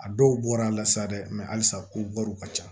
A dɔw bɔra a la sa dɛ alisa ko wariw ka ca